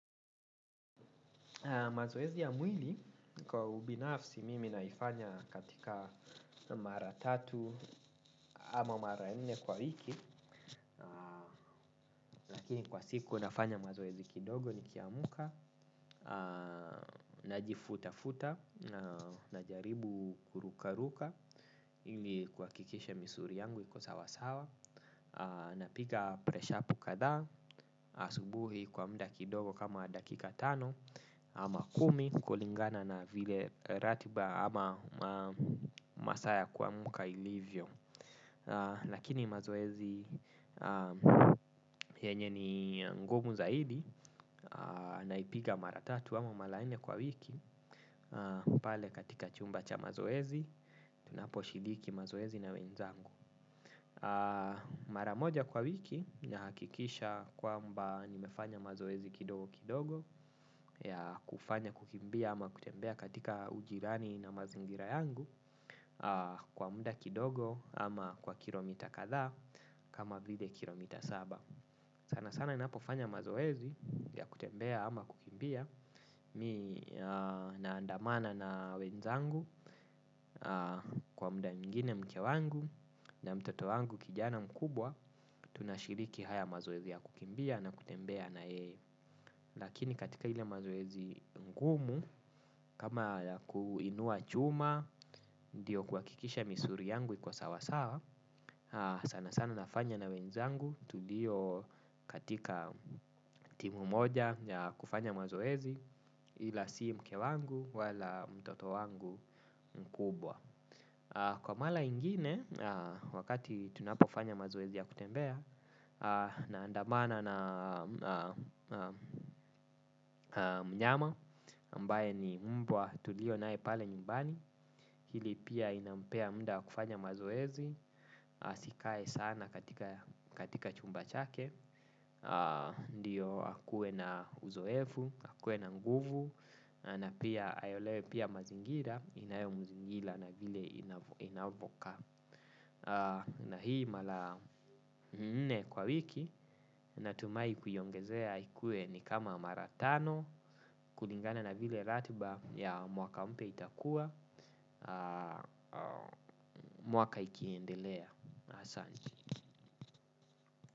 Mazoezi ya mwili kwa ubinafsi mimi naifanya katika mara tatu ama mara nne kwa wiki. Lakini kwa siku nafanya mazoezi kidogo nikiamka. Najifuta-futa na jaribu kurukaruka ili kuhakikisha misuli yangu iko sawasawa. Napiga preshapu kadhaa asubuhi kwa muda kidogo kama dakika tano. Ama kumi kulingana na vile ratiba ama masaa ya kuamka ilivyo. Lakini mazoezi yenye ni ngumu zaidi naipiga mara tatu ama mara nne kwa wiki pale katika chumba cha mazoezi tunaposhiriki mazoezi na wenzangu. Mara moja kwa wiki nahakikisha kwamba nimefanya mazoezi kidogo kidogo ya kufanya kukimbia ama kutembea katika ujirani na mazingira yangu kwa muda kidogo ama kwa kilomita kadhaa kama vile kilomita saba. Sanasana ninapofanya mazoezi ya kutembea ama kukimbia mimi naandamana na wenzangu kwa muda mwingine mke wangu na mtoto wangu kijana mkubwa tunashiriki haya mazoezi ya kukimbia na kutembea na yeye. Lakini katika ile mazoezi ngumu, kama ya kuinua chuma, ndio kuhakikisha misuli yangu iko sawasawa, sanasana nafanya na wenzangu, tulio katika timu moja ya kufanya mazoezi ila si mke wangu wala mtoto wangu mkubwa. Kwa mara ingine, wakati tunapofanya mazoezi ya kutembea, naandamana na mnyama, ambaye ni mbwa tulionaye pale nyumbani, hili pia inampea muda wa kufanya mazoezi, asikae sana katika chumba chake, ndio akuwe na uzoefu, akuwe na nguvu. Na pia ayaelewe pia mazingira inayomuzingira na vile inavoka. Na hii mara mne kwa wiki. Natumai kuiongezea ikuwe ni kama mara tano. Kulingana na vile ratiba ya mwaka mpya itakuwa. Mwaka ikiendelea. Asanti.